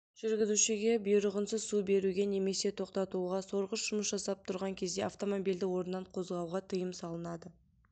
жүргізушіге бұйрығынсыз су беруге немесе тоқтатуға сорғыш жұмыс жасап тұрған кезде автомобильді орнынан қозғауға тыйым салынады